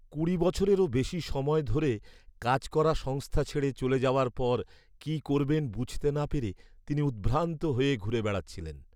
কুড়ি বছরেরও বেশি সময় ধরে কাজ করা সংস্থা ছেড়ে চলে যাওয়ার পর কি করবেন বুঝতে না পেরে তিনি উদ্ভ্রান্ত হয়ে ঘুরে বেড়াচ্ছিলেন।